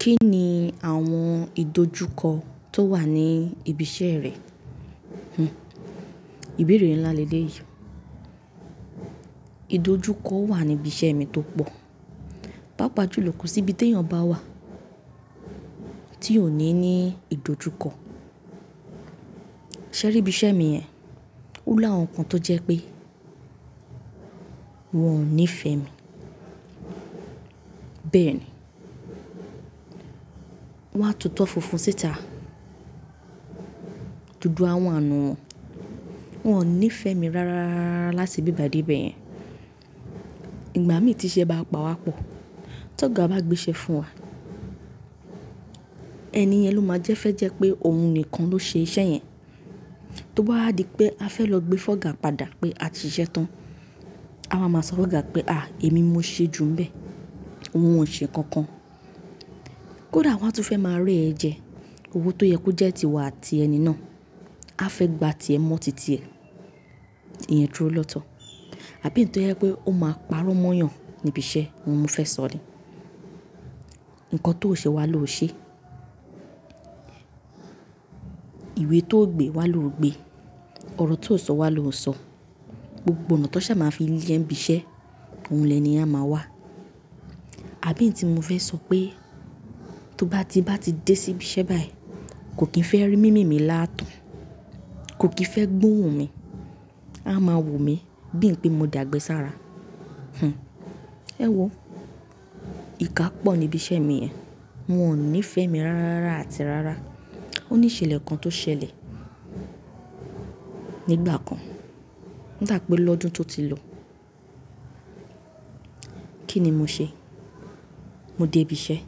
Kí ni àwọn ìdojúkọ tó wà ní ibi iṣẹ́ rẹ? Hmm. Ìbéèrè ńlá leeleyi. Ìdojúkọ wà níbi iṣẹ́ mi tó pọ̀. Paapaa júlọ kosi íbi teeyan bá wà tí ò ní ní ìdojúkọ. Ṣẹ̀rí ibi iṣẹ́ mi yẹn, ó làwọn kan tó jẹ́ pé wọ́n ò níífẹ́ mi. Bẹ́ẹ̀ni. Wọ́n á tutọ́ funfun síta. Dudu àwa n nu wọ́n, wọ́n ò níífẹ́ mi rárárárá lati ibi bayi dé ibẹ̀ yẹn. Ìgbà míi tí iṣẹ́ bá pawá pọ̀, tọ́ga bá gbé iṣẹ́ fún wa, ẹni yẹn ló máa jẹ́ fẹ́ jẹ́ pé òun nìkan ló ṣe iṣẹ́ yẹn. Tó bá di pé a fẹ́ lọ gbé fọ́ga padà pé a ti ṣiṣẹ́ tán, a wa máa sọ fọ́ga pé "à, èmi mo ṣe ju ń bẹ." Ohun ò ṣe kankan. Kódà wọ́n á tún fẹ́ máa rẹ ẹ̀ jẹ, owo tó yẹ kó jẹ́ tiwọ àti ẹni náà, a fẹ́ gba ti ẹ mọ́ titi ẹ. Ìyẹn dúró lọ́tọ̀. Àbí iyì tó jẹ pé ó máa parọ́ mọ́yàn níbi iṣẹ́, òun mi fẹ́ sọ ni. Nǹkan tó o ṣe won a lo o ṣe. Ìwé tó o gbe won a ló o gbe. Ọ̀rọ̀ tó o sọ won a ló o sọ. Gbogbo ọ̀nà tan sàa máa fi lè ẹ n bí iṣẹ́, oun lẹni yẹn a máa wà. Àbí eyi tí mo fẹ́ sọ pé tó bá ti bá ti dé sí ibi iṣẹ́ báyìí, kò kí n fẹ́ rí imí mì laatan, kò kí n fẹ́ gbóhùn mi. A máa wò mí bí ń pé mo dagbẹ sára. Hmm. Ẹ̀wo. Ìka pọ̀ níbi iṣẹ́ mi yẹn. Wọn ò níífẹ́ mi rárárárá àti rárá. Ó ní ìṣẹ̀lẹ̀ kan tó ṣẹlẹ̀ nígbà kan. Ń dà pé lọ́dún tó ti lọ. Kí ni mo ṣe? Mo dé ibi iṣẹ́.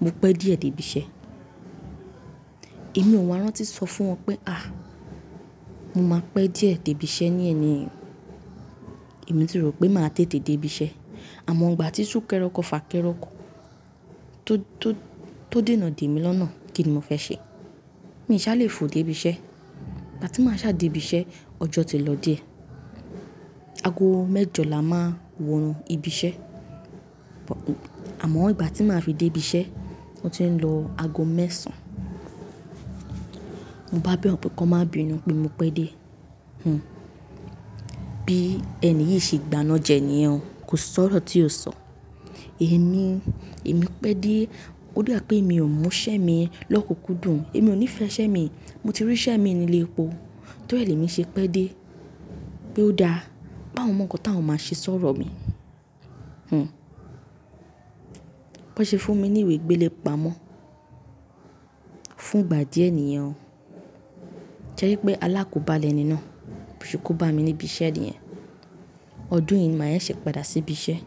Mo pẹ́ díẹ̀ dé ibi iṣẹ́. Èmi ò wá rántí sọ fún wọn pé "à, mo máa pẹ́ díẹ̀ dé ibi iṣẹ́ ní eni." Èmi ti rò pé màá tètè dé ibi iṣẹ́. Amo igbati sunkẹrẹ ọkọ fakẹrẹ ọkọ to dena demi lọna. Kí ni mo fẹ́ ṣe? Mi ṣá lè fò dé ibi iṣẹ́. Ìgbà tí màá ṣá dé ibi iṣẹ́, ọjọ́ ti lọ díẹ̀. Ago mẹ́jọ là á máa n wọnú ibi iṣẹ́. Àmọ́ ìgbà tí màá fi dé ibi iṣẹ́, o ti ń lọ ago mẹ́sàn-án. Mo bá bẹ̀wọ́n pé kan má bínu pé mo pẹ́ dé. Hmm. Bí ẹni yìí ṣe gbàna jẹ níyẹn. Kò sọ̀rọ̀ tí ò sọ. Èmi, èmi pẹ́ dé. Ó dà pé èmi ò mú iṣẹ́ mi lọ́kùnkùndùn. Èmi ò níífẹ́ iṣẹ́ mi i. Mo ti rí iṣẹ́ mii ni ile epo. Tọ́ri ẹ lèmi ṣe pẹ́ dé. Pé ó dáa. Páwon mọ̀ nǹkan táwọn máa ṣe sọ̀rọ̀ mi. Hmm. Bọn ṣe fún mi ní ìwé gbéle pamọ́ fún ìgbà díẹ̀ níyẹn. Sẹri pé alákobá lẹ́ni náà. Bo ṣe kó bámi níbi iṣẹ́ niyẹn. Ọdún yìí ni màá sẹsẹ padà sí ibi iṣẹ́.